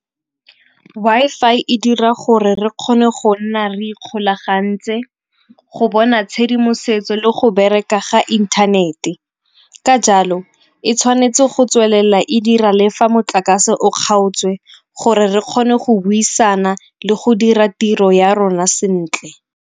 Wi-Fi e dira gore re kgone go nna re ikgolagantse, go bona tshedimosetso le go bereka ga inthanete. Ka jalo e tshwanetse go tswelela e dira le fa motlakase o kgaotswe gore re kgone go buisana le go dira tiro ya rona sentle.